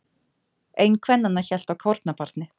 Ein kvennanna hélt á kornabarni.